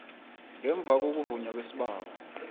ngemva kokuvunywa kwesibawo